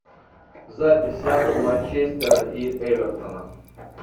запись апл манчестера и эвертона